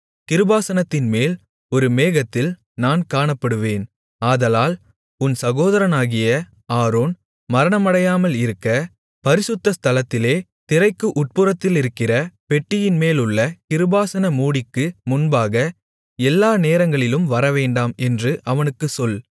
கிருபாசனத்தின்மேல் ஒரு மேகத்தில் நான் காணப்படுவேன் ஆதலால் உன் சகோதரனாகிய ஆரோன் மரணமடையாமலிருக்க பரிசுத்த ஸ்தலத்திலே திரைக்கு உட்புறத்திலிருக்கிற பெட்டியின்மேலுள்ள கிருபாசன மூடிக்கு முன்பாக எல்லா நேரங்களிலும் வரவேண்டாம் என்று அவனுக்குச் சொல்